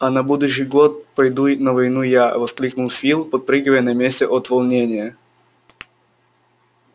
а на будущий год пойду и на войну я воскликнул фил подпрыгивая на месте от волнения